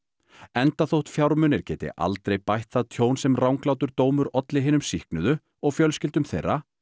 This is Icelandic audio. enda þótt fjármunir geti aldrei bætt það tjón sem ranglátur dómur olli hinum sýknuðu og fjölskyldum þeirra